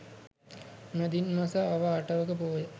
මැදින් මස අව අටවක පෝය